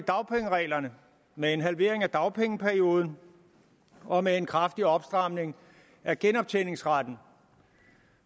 med en halvering af dagpengeperioden og med en kraftig opstramning af genoptjeningsretten